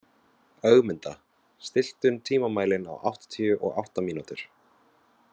Ögmunda, stilltu tímamælinn á áttatíu og átta mínútur.